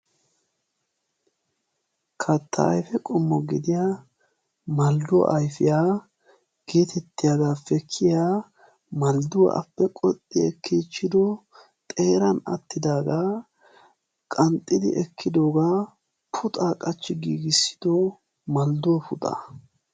katta ayife qommo gidiya maldduwa ayifiya geetettiyagaappe kiyiya maldduwappe qoxxi ekkiichchido xeeran attidaagaa qanxxidi ekkidoga puxaa qachchi giigissido maldduwa puxa.